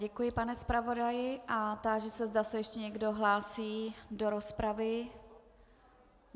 Děkuji, pane zpravodaji, a táži se, zda se ještě někdo hlásí do rozpravy.